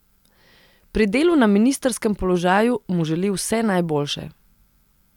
Pri delu na ministrskem položaju mu želi vse najboljše.